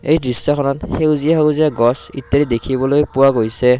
এই দৃশ্যখনত সেউজীয়া সেউজীয়া গছ কেইটা দেখিবলৈ পোৱা গৈছে।